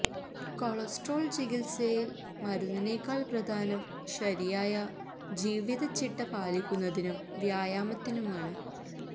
cholesterol ചികിത്സയിൽ മരുന്നിനേക്കാൾ പ്രധാനം ശരിയായ ജീവിത ചിട്ട പാലിക്കുന്നതിനും വ്യായാമത്തിനുമാണ്